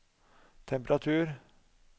temperatur